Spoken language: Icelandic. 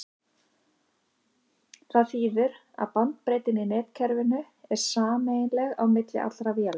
það þýðir að bandbreiddin í netkerfinu er sameiginleg á milli allra véla